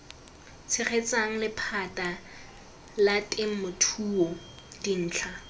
tshegetsang lephata la temothuo dintlha